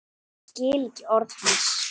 Skil ekki orð hans.